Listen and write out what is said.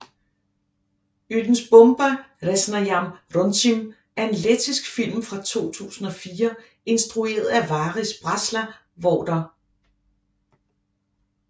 Ūdensbumba resnajam runcim er en lettisk film fra 2004 instrueret af Varis Brasla hvor der